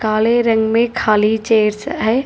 काले रंग में खाली चेयर्स है।